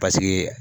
Paseke